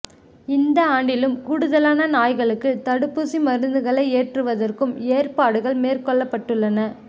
இந்த ஆண்டிலும் கூடுதலான நாய்களுக்கு தடுப்பூசி மருந்துகளை ஏற்றுவதற்கும் ஏற்பாடுகள் மேற்கொள்ளப்பட்டுள்ளன